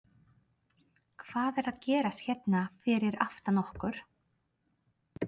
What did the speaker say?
Hvað er að gerast hérna fyrir aftan okkur?